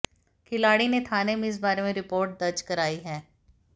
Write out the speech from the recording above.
खिलाड़ी ने थाने में इस बारे में रिपोर्ट दर्ज कराई है